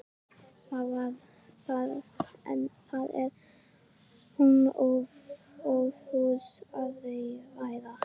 En það er hún ófús að ræða.